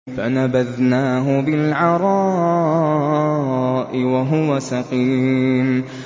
۞ فَنَبَذْنَاهُ بِالْعَرَاءِ وَهُوَ سَقِيمٌ